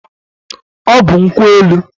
Ọ bụ nkwụ enu.